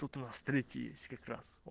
тут у нас третий есть как раз вот